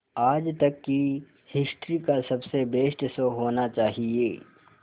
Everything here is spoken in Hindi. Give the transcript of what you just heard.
आज तक की हिस्ट्री का सबसे बेस्ट शो होना चाहिए